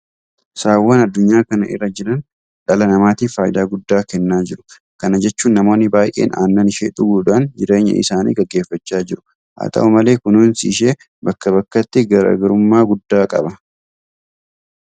Saawwan addunyaa kana irra jiran dhala namaatiif faayidaa guddaa kennaa jiru. Kana jechuun namoonni baay'een aannan ishee dhuguudhaan jireenya isaanii gaggeeffachaa jiru. Haa ta'u malee kunuunsi ishee bakka bakkatti garaa garummaa guddaa qaba.